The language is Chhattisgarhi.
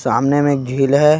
सामने में एक झील है।